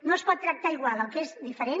no es pot tractar igual el que és diferent